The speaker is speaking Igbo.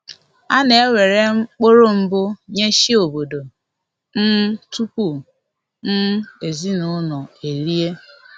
A na ewere mkpụrụ mbụ nye chi obodo um tupu um ezinụlọ erie